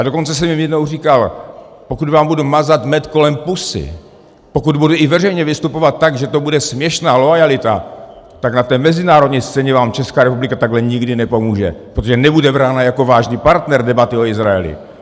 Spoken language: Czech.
A dokonce jsem jim jednou říkal: pokud vám budu mazat med kolem pusy, pokud budu i veřejně vystupovat tak, že to bude směšná loajalita, tak na té mezinárodní scéně vám Česká republika takhle nikdy nepomůže, protože nebude brána jako vážný partner debaty o Izraeli.